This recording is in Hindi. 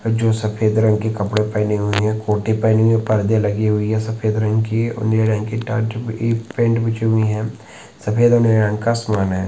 जो सफ़ेद रंग के कपड़े पहने हुए है ओटी में पर्दे लगी हुई है सफ़ेद रंग की और नीले रंग सफेद हरे रंग का है।